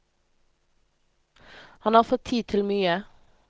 Han har fått tid til mye.